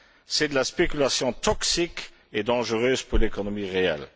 C'est de la spéculation toxique et dangereuse pour l'économie réelle.